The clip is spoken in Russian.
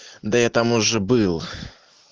да я там уже был